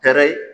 Kɛrɛ